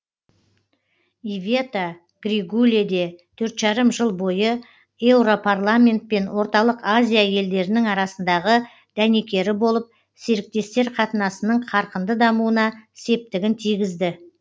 ивета григуле де төрт жарым жыл бойы еуропарламент пен орталық азия елдерінің арасындағы дәнекері болып серіктестер қатынасының қарқынды дамуына септігін тигізді